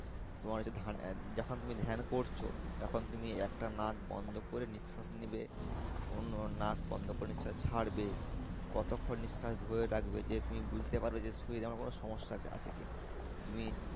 তোমার হচ্ছে যখন তুমি ধ্যান করছো তখন তুমি একটা নাক বন্ধ করে নিঃশ্বাস নেবে অন্য নাক বন্ধ করে নিঃশ্বাস ছাড়বে কতক্ষন নিঃশ্বাস ধরে রাখবে যে তুমি বুঝতে পারবে যে শরীরে আমার কোনো সমস্যা আছে কি না। তুমি